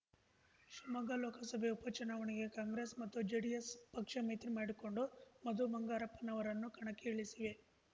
ಶಿವಮೊಗ್ಗ ಲೋಕಸಭೆ ಉಪ ಚುನಾವಣೆಗೆ ಕಾಂಗ್ರೆಸ್‌ ಮತ್ತು ಜೆಡಿಎಸ್‌ ಪಕ್ಷ ಮೈತ್ರಿ ಮಾಡಿಕೊಂಡು ಮಧು ಬಂಗಾರಪ್ಪನವರನ್ನು ಕಣಕ್ಕೆ ಇಳಿಸಿವೆ